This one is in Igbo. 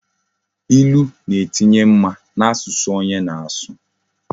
Ilu na etinye mma na asusu onye na asu